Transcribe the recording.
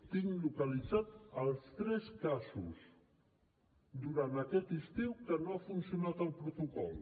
tinc localitzats els tres casos durant aquest estiu en què no ha funcionat el protocol